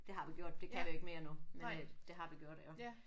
Det har vi gjort. Det kan vi ikke mere nu men øh det har vi gjort iggå